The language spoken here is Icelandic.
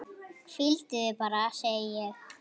Hvíldu þig bara, segi ég.